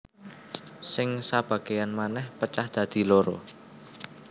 Sing sabagéyan manèh pecah dadi loro